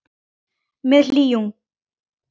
Með hlýhug.